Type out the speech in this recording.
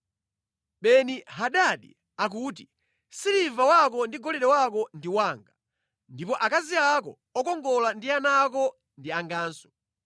“Beni-Hadadi akuti, ‘Siliva wako ndi golide wako ndi wanga, ndipo akazi ako okongola ndi ana ako ndi anganso.’ ”